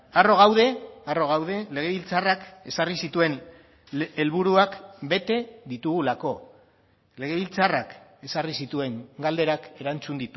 harro gaude harro gaude legebiltzarrak ezarri zituen helburuak bete ditugulako legebiltzarrak ezarri zituen galderak erantzun